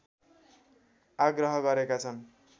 आग्रह गरेका छन्